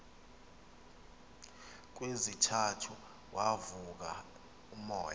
kwesithathu wavuka umoya